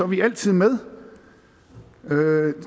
vi altid med